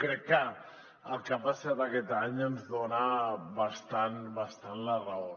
crec que el que ha passat aquest any ens dona bastant la raó